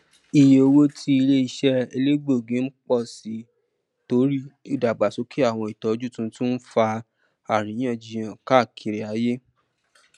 ìyé owó tí iléiṣẹ elegbogi ń pọ sí torí ìdàgbàsókè àwọn ìtọjú tuntun ń fà aríyànjiyàn káàkiri ayé